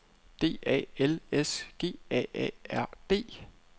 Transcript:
D A L S G A A R D